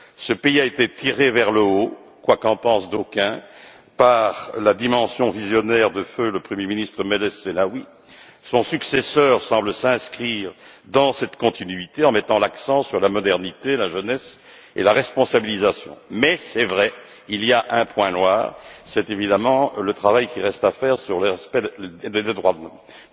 Le pays a été tiré vers le haut, quoique en pensent d'aucuns, par la dimension visionnaire de feu le Premier ministre Meles Zenawi. Son successeur semble s'inscrire dans cette continuité en mettant l'accent sur la modernité, la jeunesse et la responsabilisation. Mais, c'est vrai qu'il y a un point noir, c'est évidemment le travail qui reste à faire sur l'aspect des droits de l'homme.